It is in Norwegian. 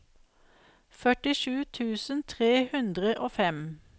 førtisju tusen tre hundre og fem